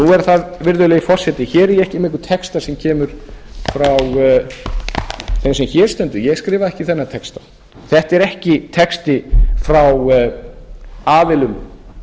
nú er það virðulegi forseti hér er ég ekki með einhvern texta sem kemur frá þeim sem hér stendur ég skrifaði ekki þennan texta þetta er ekki texti frá aðilum